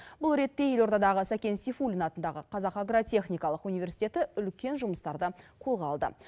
бұл ретте елордадағы сәкен сейфуллин атындағы қазақ агротехникалық университеті үлкен жұмыстарды қолға алды